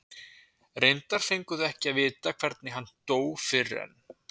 Reyndar fengu þau ekki að vita hvernig hann dó fyrr en